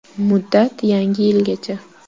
Muddat Yangi yilgacha!